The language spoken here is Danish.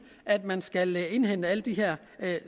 at man skal indhente alle de her